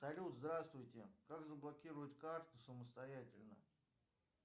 салют здравствуйте как заблокировать карту самостоятельно